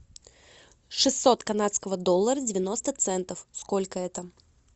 шестьсот канадского доллара девяносто центов сколько это